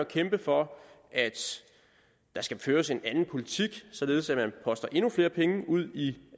kæmpe for at der skal føres en anden politik således at man poster endnu flere penge ud i